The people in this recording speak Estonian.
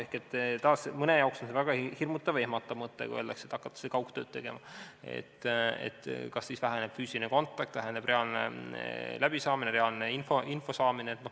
Ehk, taas, mõne jaoks on see väga hirmutav ja ehmatav mõte, kui öeldakse, et hakatakse kaugtööd tegema – kas siis väheneb füüsiline kontakt ja reaalne info saamine.